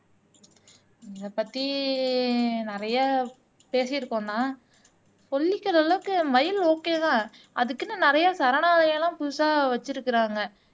இதைப்பத்தி நிறையா பேசிருக்கோண்ணா சொல்லிக்கிற அளவுக்கு மயில் ஒகேவா அதுக்குன்னு நிறைய சரணாலயம்லாம் புதுசா வச்சிருக்கிறாங்க